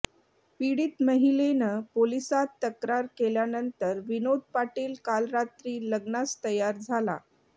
पीडित महिलेनं पोलिसांत तक्रार केल्यानंतर विनोद पाटील काल रात्री लग्नास तयार झाला